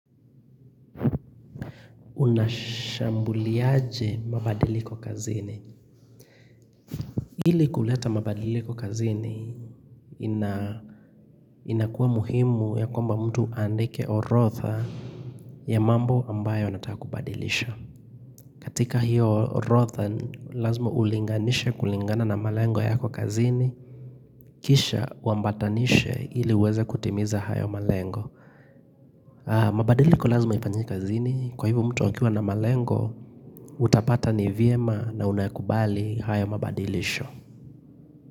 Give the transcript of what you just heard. Unashambuliaje mabadiliko kazini Hili kuleta mabadiliko kazini inakuwa muhimu ya kwamba mtu andike orotha ya mambo ambayo anataka kubadilisha katika hiyo orotha Lazma ulinganishe kulingana na malengo yako kazini Kisha uambatanishe hili uweze kutimiza hayo malengo mabadiliko lazima ifanyike kazini Kwa hivyo mtu akiwa na malengo Utapata ni vyema na unakubali haya mabadilisho.